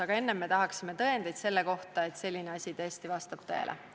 Aga kõigepealt tahaksime tõendeid selle kohta, et selline asi vastab tõele.